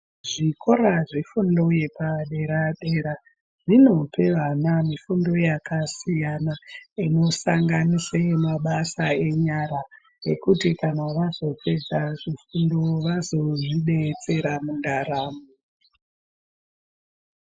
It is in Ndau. Zvikora zvefundo yepadera dera zvinopa vana mifundo yakasiyana siyana inosanganisa mabasa enyara kuti vazopedza zvofundo vazozvibetsera mundaramo.